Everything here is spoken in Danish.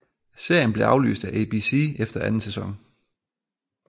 Serien blev aflyst af ABC efter anden sæson